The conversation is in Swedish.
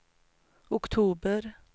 oktober